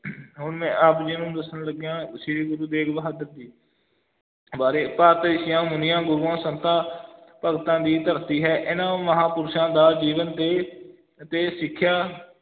ਹੁਣ ਮੈਂ ਆਪ ਜੀ ਨੂੰ ਦੱਸਣ ਲੱਗਿਆਂ ਸ੍ਰੀ ਗੁਰੂ ਤੇਗ ਬਹਾਦਰ ਜੀ ਬਾਰੇ ਭਾਰਤ ਰਿਸ਼ੀਆਂ ਮੁਨੀਆਂ, ਗੁਰੂਆਂ ਸੰਤਾਂ ਭਗਤਾਂ ਦੀ ਧਰਤੀ ਹੈ ਇਹਨਾਂ ਮਹਾਂਪੁਰਸ਼ਾਂ ਦਾ ਜੀਵਨ ਤੇ ਤੇ ਸਿੱਖਿਆ